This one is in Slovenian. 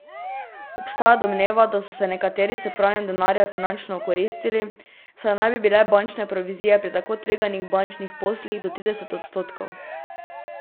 Obstaja domneva, da so se nekateri s pranjem denarja finančno okoristili, saj naj bi bile bančne provizije pri tako tveganih bančnih poslih do trideset odstotkov.